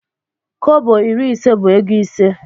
Kọbọ iri ise bu ego ise.